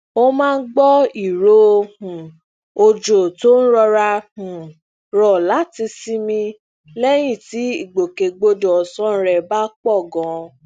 ó máa ń gbọ ìró um òjò tó ń rọra um rọ láti sinmi lẹyìn ti igbokegbodọ ọsan rẹ ba pọ ganan